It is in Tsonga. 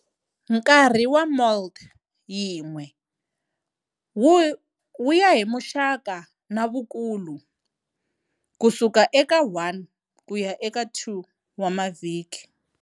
Nkarhi wa molt yin'we wuya hi muxaka na vukulu-Kusuka eka 1 kuya eka 2 wa mavhiki.